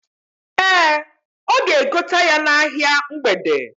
Ee, ọ ga-egote ya n'ahia mgbede.